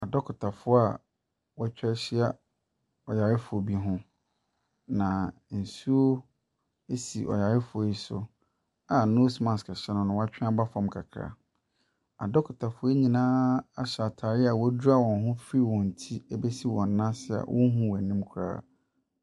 Adɔkotafoɔ a wɔatwa ahyia ɔyarefoɔ bi ho, na nsuo si ɔyarefoɔ yi so a nose mask hyɛ no na watwe aba fam kakra. Adɔkotafo nyinaa ahyɛ ataare a wɔadwira wɔn ho fi wɔn ti bɛsi wɔn nan ase a wohu wɔn anim koraa.